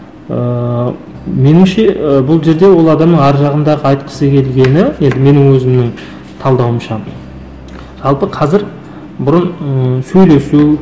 ыыы меніңше ы бұл жерде ол адамның ар жағындағы айтқысы келгені енді менің өзімнің талдауымша жалпы қазір бұрын ы сөйлесу